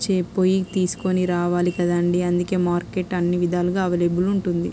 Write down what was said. చే పోయి తీసుకొని రావాలి కదండీ.అందుకే మార్కెట్ అన్ని విధాలుగా అవైలబుల్ ఉంటుంది.